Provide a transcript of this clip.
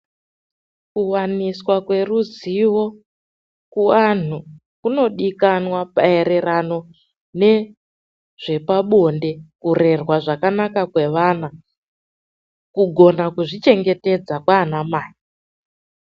Kuwaniswa kweruzivo kuvantu kunodikanwa maererano nezvepabonde, kurerwa zvakanaka kwevana, kugona kuzvichengetedza kwana mai.